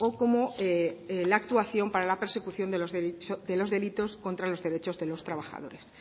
como la actuación para la persecución de los delitos contra los derechos de los trabajadores